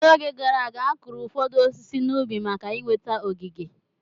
N'oge gara aga, akụrụ ụfọdụ osisi n'ubi maka inweta ogige.